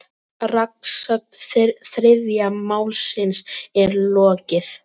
Rannsókn þriðja málsins er lokið.